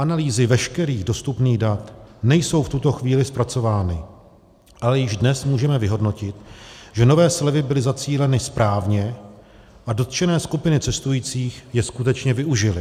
Analýzy veškerých dostupných dat nejsou v tuto chvíli zpracovány, ale již dnes můžeme vyhodnotit, že nové slevy byly zacíleny správně a dotčené skupiny cestujících je skutečně využily.